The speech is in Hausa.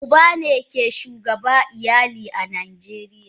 Uba ne ke shugaba a iyali a najeriya.